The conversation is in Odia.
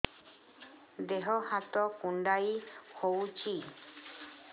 ଦେହ ହାତ କୁଣ୍ଡାଇ ହଉଛି